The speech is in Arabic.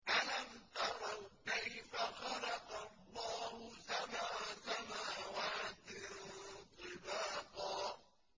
أَلَمْ تَرَوْا كَيْفَ خَلَقَ اللَّهُ سَبْعَ سَمَاوَاتٍ طِبَاقًا